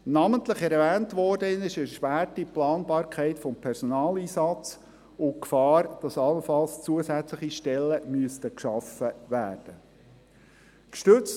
Namentlich erwähnt worden ist die erschwerte Planbarkeit des Personaleinsatzes und die Gefahr, dass allenfalls zusätzliche Stellen geschaffen werden müssten.